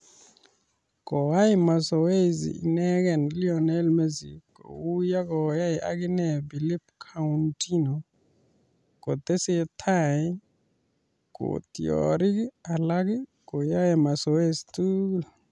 Koai mazoei inegee Lionel Messi kou yekoyai agine Philippe Coutinho ,kotesetai kotiorik alage koyaei mazoezi tugul